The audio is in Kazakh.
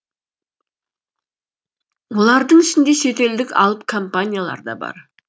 олардың ішінде шетелдік алып компаниялар да бар